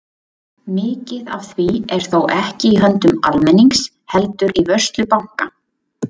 Mikið af því er þó ekki í höndum almennings heldur í vörslu banka.